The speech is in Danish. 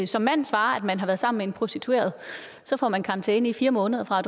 som mand svarer at man har været sammen med en prostitueret får man karantæne i fire måneder fra